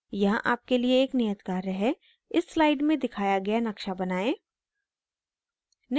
यहाँ आपके लिए एक नियत कार्य है इस slide में दिखाया गया नक्शा बनाएं